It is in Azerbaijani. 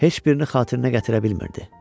Heç birini xatirinə gətirə bilmirdi.